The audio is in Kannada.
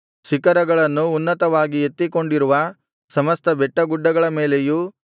ಶಿಖರಗಳನ್ನು ಉನ್ನತವಾಗಿ ಎತ್ತಿಕೊಂಡಿರುವ ಸಮಸ್ತ ಬೆಟ್ಟಗುಡ್ಡಗಳ ಮೇಲೆಯೂ